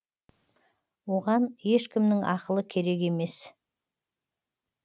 оған ешкімнің ақылы керек емес